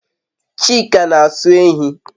Chika n'aso ehi